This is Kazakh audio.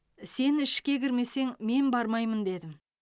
сен ішке кірмесең мен бармаймын дедім